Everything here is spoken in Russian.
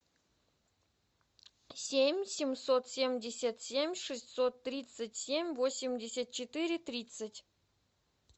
семь семьсот семьдесят семь шестьсот тридцать семь восемьдесят четыре тридцать